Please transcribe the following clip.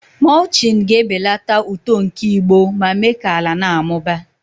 mulching ga-ebelata uto nke igbo ma mee ka ala na-amụba.